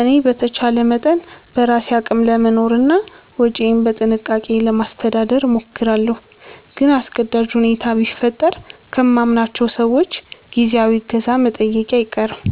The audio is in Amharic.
እኔ በተቻለ መጠን በራሴ አቅም ለመኖርና ወጪዬን በጥንቃቄ ለማስተዳደር እሞክራለሁ። ግን አስገዳጅ ሁኔታ ቢፈጠር ከማምናቸው ሰዎች ጊዜያዊ እገዛ መጠየቄ አይቀርም